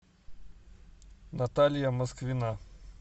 наталья москвина